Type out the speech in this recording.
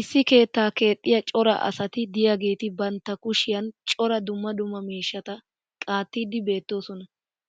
issi keettaa keexxiya cora asati diyaageeti bantta kushshiyan cora dumma dumma miishshata qaattiidi beettoosona.